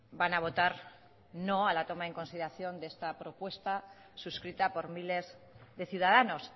van a votar no a la toma en consideración de esta propuesta suscrita por miles de ciudadanos